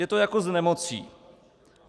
Je to jako s nemocí.